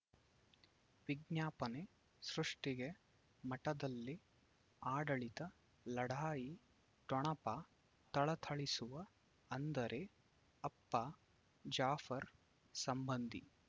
ವಿಜ್ಞಾಪನೆ ಸೃಷ್ಟಿಗೆ ಮಠದಲ್ಲಿ ಆಡಳಿತ ಲಢಾಯಿ ಠೊಣಪ ಥಳಥಳಿಸುವ ಅಂದರೆ ಅಪ್ಪ ಜಾಫರ್ ಸಂಬಂಧಿ